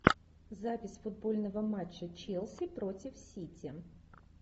запись футбольного матча челси против сити